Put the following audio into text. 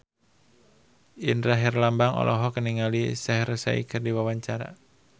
Indra Herlambang olohok ningali Shaheer Sheikh keur diwawancara